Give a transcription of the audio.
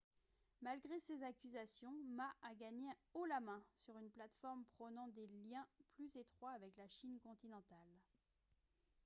malgré ces accusations ma a gagné haut la main sur une plateforme prônant des liens plus étroits avec la chine continentale